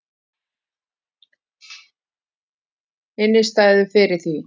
Innistæðu fyrir því!